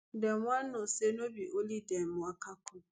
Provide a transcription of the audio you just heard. dem wan know say no be only dem waka come